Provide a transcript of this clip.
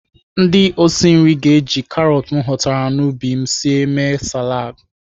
Ndị osi nri ga-eji karọt m ghọtara n'ubi m sie mee saladị.